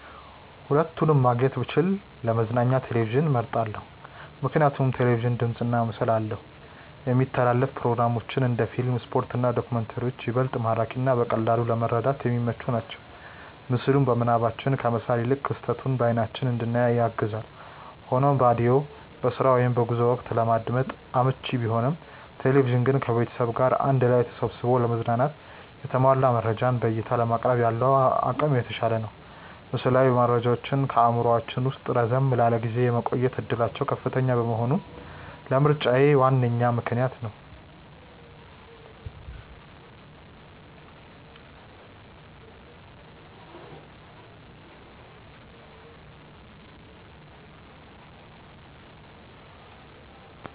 ሁለቱንም ማግኘት ብችል ለመዝናኛ ቴሌቪዥንን መርጣለው። ምክንያቱም ቴሌቪዥን ድምፅና ምስል አለው፣ የሚተላለፉ ፕሮግራሞች (እንደ ፊልም፣ ስፖርት እና ዶክመንተሪዎች) ይበልጥ ማራኪና በቀላሉ ለመረዳት የሚመቹ ናቸው። ምስሉን በምናባችን ከመሳል ይልቅ ክስተቱን በአይናችን እንድናይ ያግዛል። ሆኖም ሬዲዮ በስራ ወይም በጉዞ ወቅት ለማዳመጥ አመቺ ቢሆንም፣ ቴሌቪዥን ግን ከቤተሰብ ጋር አንድ ላይ ተሰብስቦ ለመዝናናትና የተሟላ መረጃን በዕይታ ለማቅረብ ያለው አቅም የተሻለ ነው። ምስላዊ መረጃዎች በአእምሯችን ውስጥ ረዘም ላለ ጊዜ የመቆየት ዕድላቸው ከፍተኛ መሆኑም ለምርጫዬ ዋነኛ ምክንያት ነው።